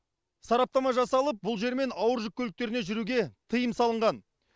сараптама жасалып бұл жермен ауыр жүк көліктеріне жүруге тыйым салынған